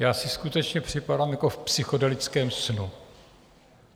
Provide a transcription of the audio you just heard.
Já si skutečně připadám jako v psychedelickém snu.